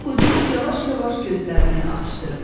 Yuxucul yavaş-yavaş gözlərini açdı.